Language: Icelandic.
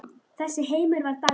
Þessi heimur var Dalvík.